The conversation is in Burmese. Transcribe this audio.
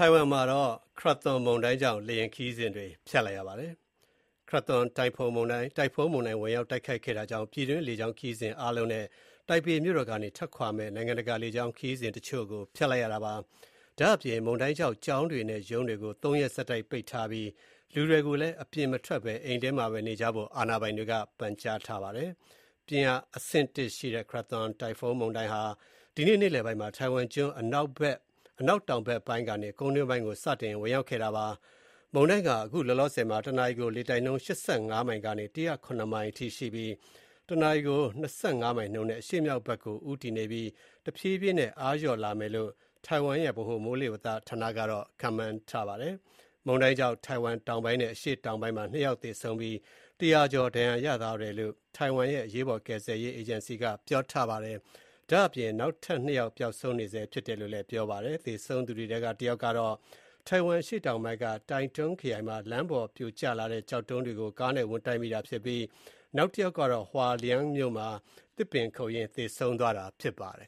ိုင်ဝမ်မှာ Krathon တိုင်ဖွန်းမုန်တိုင်းဝင်ရောက် တိုက်ခတ်ခဲ့တာကြောင့် ပြည်တွင်းလေကြောင်းခရီးစဉ်တွေ အားလုံး နဲ့ တိုင်ပေမြို့တော်ကနေ ထွက်ခွာမယ့် နိုင်ငံတကာလေကြောင်းခရီးစဉ်တချို့ကို ဖျက်လိုက်ရပါတယ်။ ဒါ့အပြင် မုန်တိုင်းကြောင့် ကျောင်းတွေနဲ့ ရုံးတွေကို ၃ ရက် ဆက်တိုက်ပိတ်ထားပြီး လူတွေကိုလည်း အပြင်မထွက်ဘဲ အိမ်ထဲမှာပဲ နေကြဖို့ အာဏာပိုင်တွေက ပန်ကြားထားပါတယ်။ ပြင်းအားအဆင့် ၁ ရှိတဲ့ Krathon တိုင်ဖုန်းမုန်တိုင်းဟာ ဒီနေ့နေ့လယ်ပိုင်းမှာ တိုင်ဝမ်ကျွန်း အနောက်တောင်ဘက်ပိုင်းကနေ ကုန်းတွင်းကို စတင်ဝင်ရောက်ခဲ့တာပါ။ မုန်တိုင်းက အခုလောလောဆယ်မှာ ၁ နာရီကို လေတိုက်နှုန်း ၈၅ မိုင်ကနေ ၁၀၇ မိုင်းအထိရှိပြီး၊ ၁ နာရီကို ၂.၅ မိုင်နှုန်းနဲ့ အရှေ့မြောက်ဘက်ကို ဦတည်နေပြီး တဖြည်းဖြည်းနဲ့ အားလျော့လာမယ်လို့ တိုင်ဝမ်ရဲ့ ဗဟိုမိုးလေဝသဌာနက ခန့်မှန်းထားပါတယ်။ မုန်တိုင်းကြောင့် ထိုင်ဝမ်တောင်ပိုင်း နဲ့ အရှေ့တောင်ပိုင်းမှာ၂ ယောက် သေဆုံးပြီး၊ ၁၀၀ ကျော် ဒဏ်ရာရသွားတယ်လို့ တိုင်ဝမ်ရဲ့ အရေးပေါ် ကယ်ဆယ်ရေးအေဂျင်စီက ပြောပါတယ်။ ဒါ့အပြင် နောက်ထပ် ၂ ယောက် ပျောက်ဆုံးနေဆဲဖြစ်တယ်လို့ ပြောပါတယ်။ သေဆုံးသူတွေထဲက တယောက်ကတော့ တိုင်ဝမ်အရှေ့တောင်ပိုင်းက Taitung ခရိုင်မှာ လမ်းပေါ်ပြိုကျလာတဲ့ကျောက်တုံးတွေကို ကားနဲ့ဝင်တိုက်မိတာဖြစ်ပြီး နောက်တယောက်ကတော့ Hualien မြို့မှာ သစ်ပင်ခုတ်ရင်းသေဆုံးသွားတာဖြစ်ပါတယ်